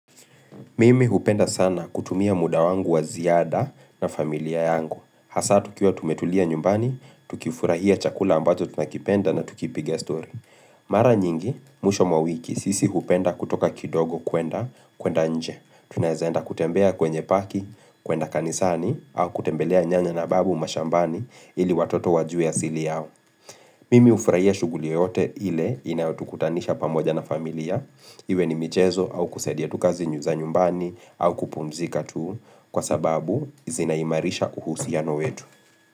Mimi hupenda sana kutumia muda wangu wa ziada na familia yangu hasa tukiwa tumetulia nyumbani, tukifurahia chakula ambazo tunakipenda na tukipiga story Mara nyingi, mwisho wa wiki, sisi hupenda kutoka kidogo kwenda, kwenda nje tunaweza enda kutembea kwenye paki, kwenda kanisani, au kutembelea nyanya na babu mashambani ili watoto wajue asili yao Mimi hufurahia shughuli yoyote ile inayotukutanisha pamoja na familia Iwe ni michezo au kusadia tu kazi za nyumbani au kupumzika tu kwa sababu zinaimarisha uhusiano wetu.